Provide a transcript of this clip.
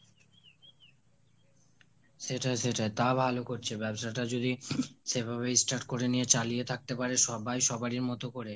সেটাই সেটাই তাও ভালো করছে, ব্যবসাটা যদি সেভাবেই start করে নিয়ে চালিয়ে থাকতে পারে সবাই সবারই মতো করে,